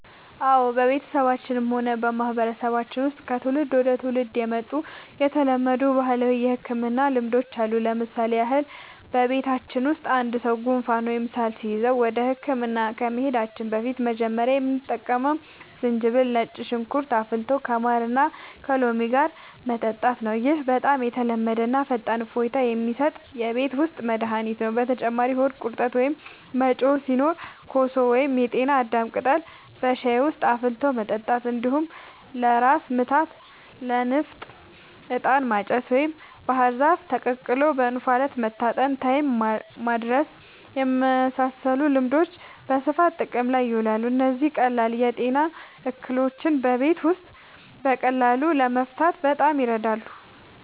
አዎ፣ በቤተሰባችንም ሆነ በማህበረሰባችን ውስጥ ከትውልድ ወደ ትውልድ የመጡ የተለመዱ ባህላዊ የሕክምና ልማዶች አሉ። ለምሳሌ ያህል፣ በቤተሰባችን ውስጥ አንድ ሰው ጉንፋን ወይም ሳል ሲይዘው ወደ ሕክምና ከመሄዳችን በፊት መጀመሪያ የምንጠቀመው ዝንጅብልና ነጭ ሽንኩርት አፍልቶ ከማርና ከሎሚ ጋር መጠጣት ነው። ይህ በጣም የተለመደና ፈጣን እፎይታ የሚሰጥ የቤት ውስጥ መድኃኒት ነው። በተጨማሪም ሆድ ቁርጠት ወይም መጮህ ሲኖር ኮሶ ወይም የጤና አዳም ቅጠል በሻይ ውስጥ አፍልቶ መጠጣት፣ እንዲሁም ለራስ ምታትና ለንፍጥ «ዕጣን ማጨስ» ወይም ባህር ዛፍ ተቀቅሎ በእንፋሎት መታጠንን (ታይም ማድረስ) የመሳሰሉ ልማዶች በስፋት ጥቅም ላይ ይውላሉ። እነዚህ ቀላል የጤና እክሎችን በቤት ውስጥ በቀላሉ ለመፍታት በጣም ይረዳሉ።